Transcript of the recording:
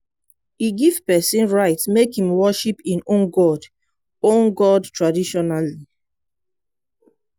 e give pesin right make im worship im own god own god traditionally.